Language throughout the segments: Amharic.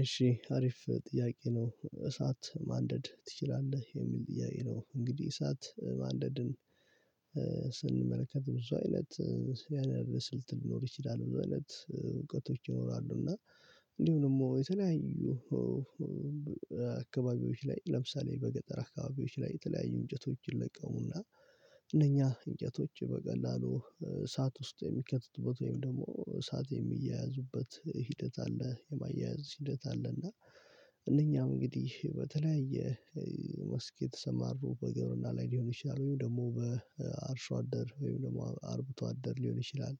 እሺ አሪፍ ጥያቄ ነው እሳት ማንደድ ትችላለህ የሚል ጥያቄ ነው? እንግዲህ እሳት ማንደድን ስንመለከት ብዙ አይነት ያንን ስልት ሊኖር ይችላል ብዙ አይነት ይኖራሉ። እና እንዲሁ ደግሞ የተለያዩ አካባቢዎች ላይ ለምሳሌ በገጠር አካባቢዎች ላይ የተለያዩ እንጨቶችን ይለቀሙና እነኛ እንጨቶች በቀላሉ እሳት ውስጥ የሚከትትበት ወይም ደግሞ እሳት የሚያያዙበት ሂደት አለ። የማያያዝ ሂደት አለ አለ እና እነኛም እንግዲህ በተለያየ መስክ የተሰማሩ በግብርና ላይ ሊሆን ይችላል ወይም ደግሞ በአርሶ አደር ወይም ደግሞ አርቡቶ አደር ሊሆን ይችላል።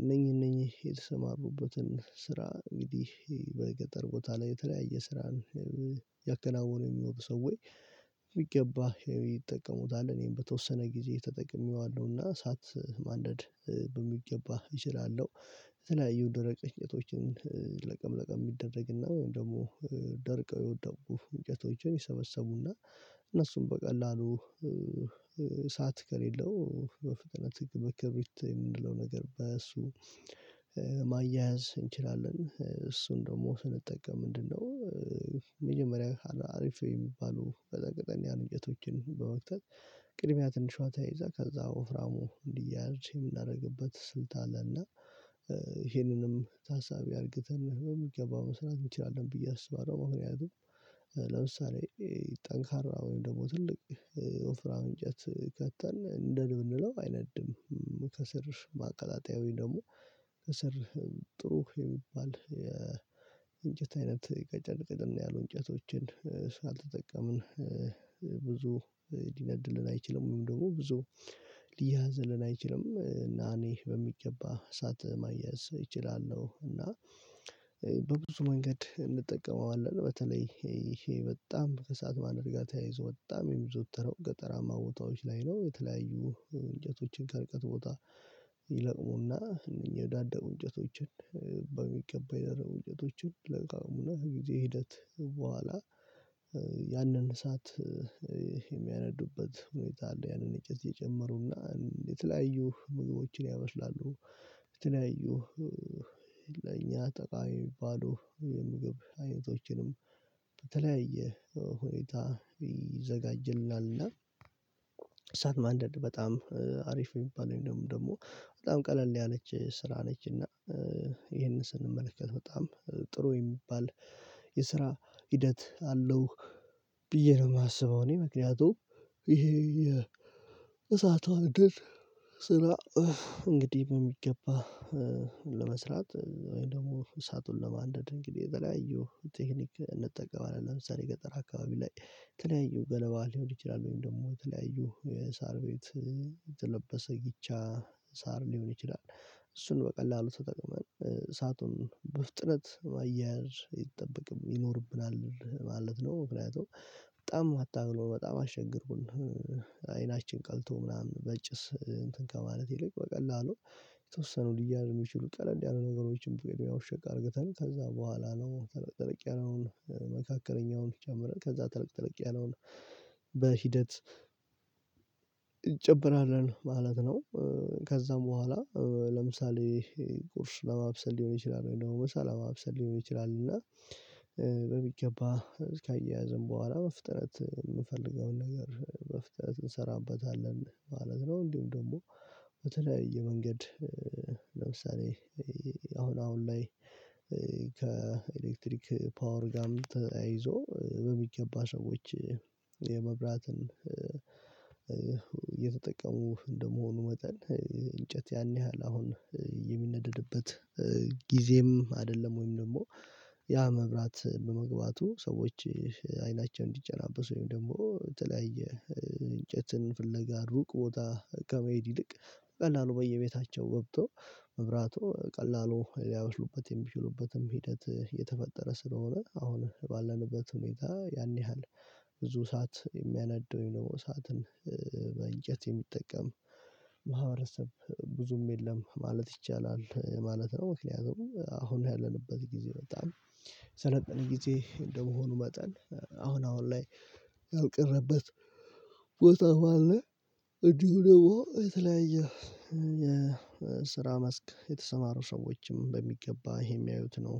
እነኚህ እነኚህ የተሰማሩበትን ስራ እንግዲህ በገጠር ቦታ ላይ የተለያየ ስራን ያከናወኑ የሚመጡ ሰዎዬ የሚገባህ ይጠቀሙታል እኔም በተወሰነ ጊዜ ተጠቅሜዋለሁና እሳት ማንደድ በሚገባ እችላለሁ። የተለያዩ ድረ ቅኝቶችን ለቀም ለቀም የሚደረግ ወይም ደግሞ ደርቀው የወደቁ እንጨቶችን ይሰበሰቡና እነሱም በቀላሉ እሳት ከሌለው በፍቅረት ህግ በክርሪት የምንለው ነገር በእሱ ማያያዝ እንችላለን። እሱን ደግሞ ስንጠቀም ምንድነው? መጀመሪያ አሪፍ የሚባሉ በዛ ያሉ ቅጠሎችን በመክት እንጨቶችን በወክተት ቅድሚያ ትንሿ ተይዛ ከዛ ወፍራሙ እንዲያያዝ የምናደርግበት ስልት አለና ይሄንንም ታሳቢ አድርገን በሚገባ መስራት እንቺላለን ብዬ አስባለሁ። ምክንያቱም ለምሳሌ ጠንካራ ወይም ደግሞ ትልቅ ወፍራውን እት ከተን ንደድ ብንለው አይነድም ከስር ማቀላጠያዊ ደግሞ ከስር ጥሩ የሚባል የእንጨት አይነት ቀጨን ቀጨን ያሉ እንጨቶችን እስካልተጠቀምን ብዙ ሊነድልን አይችልም ወይም ደግሞ ብዙ ሊያያዝልን አይችልም እና እኔ በሚገባ እሳት ማያዝ እችላለሁ። እና በብዙ መንገድ እንጠቀመዋለን በተለይ ይሄ በጣም ከሰአት ማድረግ ጋር ተያይዞ በጣም የብዙ የሚዘወተረው ገጠራማ ቦታዎች ላይ ነው። የተለያዩ እንጨቶችን ከርቀት ቦታ ይለቅሙና እነኚህ የወዳደቁ እንጨቶችን በሚገባ የደረቁ እንጨቶችን ይለቃቅሙና ከጊዜ ሂደት በኋላ ያንን እሳት የሚያነዱበት ሁኔታ አለ። ያንን እጨት እየጨመሩና የተለያዩ ምግቦችን ያመስላሉ የተለያዩ ለኛ ጠቃሚ የሚባሉ የምግብ አይነቶችንም በተለያየ ሁኔታ ይዘጋጅልናል። እና እሳት ማንደድ በጣም አሪፍ የሚባለው ደግሞ በጣም ቀለል ያለች ስራ ነች እና ይሄንን ስንመለከት በጣም ጥሩ የሚባል የስራ ሂደት አለው ብዬ ነው። የማስበው እኔ ምክንያቱም ይሄ የእሳቷ እድል ስራ እንግዲህ በሚገባ ለመስራት ወይም ደግሞ እሳቱን ለማንደድ እንግዲህ የተለያየው ቴክኒክ እንጠቀማለን ለምሳሌ ገጠር አካባቢ ላይ የተለያዩ ገለባ ሊሆን ይችላል ወይም ደግሞ የተለያዩ የሳር ቤት የተለበሰ ጊቻ ሳር ሊሆን ይችላል እሱን በቀላሉ ተጠቅመን እሳቱን በፍጥነት ማያያዝ ይጠበቅም ይኖርብናል ማለት ነው። ምክንያቱም በጣም አታግሮ በጣም አሸግሩን አይናችን ቀልቶ ምናምን በጭስ እንትን ከማለት ይልቅ በቀላሉ የተወሰኑ ሊያያዙ የሚችሉ ቀለል ያሉ ነገሮችን ብትሄዱ ሸቅ አድርገተን ከዛ በኋላ ነው ተልቅ ተልቅ ያለውን መካከለኛውን ጀምረ ከዛ ትልቅ ትልቅ ያለውን በሂደት እጨምራለን ማለት ነው። ከዛም በኋላ ለምሳሌ ቁርስ ለማብሰል ሊሆን ይችላል እኔ ደግሞ ምሳ ለማብሰል ሊሆን ይችላል እና በሚገባ እስከ አያያዝም በኋላ በፍጥነት የምፈልገውን ነገር በፍጥነት እንሰራበታለን ማለት ነው። እንዲሁም ደግሞ በተለያየ የመንገድ ለምሳሌ አሁን አሁን ላይ ከኤሌክትሪክ ፓወር ጋም ተያይዞ በሚገባ ሰዎች የመብራትን የተጠቀሙ እንደመሆኑ መጠን እንጨት ያን ያህል አሁን የሚነደድበት ጊዜም አይደለም ወይም ደግሞ ያ መብራት በመግባቱ ሰዎች አይናቸውን እንዲጨናበሱ ወይም ደግሞ በተለያየ እንጨትን ፍለጋ ሩቅ ቦታ ከመሄድ ይልቅ ቀላሉ በየቤታቸው ገብቶ መብራቱ ቀላሉ ሊያበስሉበት የሚችሉበትም ሂደት እየተፈጠረ ስለሆነ አሁን ባለንበት ሁኔታ ያን ያህል ብዙ ሰዓት የሚያነደው ነው ሰዓትን በእንጨት የሚጠቀም ማህበረሰብ ብዙም የለም ማለት ይቻላል ማለት ነው። ምክንያቱም አሁን ያለንበት ጊዜ በጣም ሰለጠነ ጊዜ እንደመሆኑ መጠን አሁን አሁን ላይ ያልቀረበት ቦታም አለ። እንዲሁ ደግሞ የተለያየ የስራ መስክ የተሰማሩ ሰዎችም በሚገባ ይሄ የሚያዩት ነው።